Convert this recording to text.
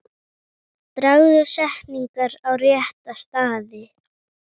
Dragðu setningar á rétta staði.